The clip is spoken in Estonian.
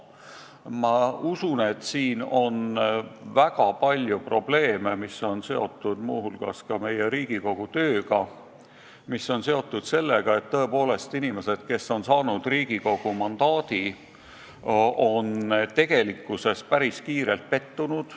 Ma usun, et siin on väga palju probleeme, mis on seotud muu hulgas ka meie Riigikogu tööga, mis on seotud sellega, et tõepoolest inimesed, kes on saanud Riigikogu liikme mandaadi, on tegelikkuses päris kiirelt pettunud.